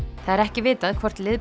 það er ekki vitað hvort